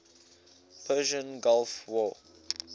persian gulf war